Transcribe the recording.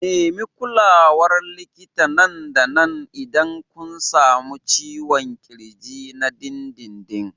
Nemi kulawar likita nan da nan idan kun sami ciwon ƙirji na dindindin.